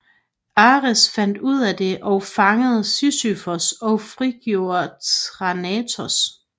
Ares fandt ud af det og fangede Sisyfos og frigjorde Thanatos